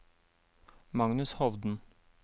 Magnus Hovden